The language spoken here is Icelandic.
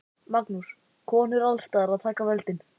Magnús: Konur alls staðar að taka völdin?